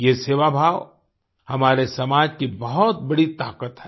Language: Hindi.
ये सेवाभाव हमारे समाज की बहुत बड़ी ताकत है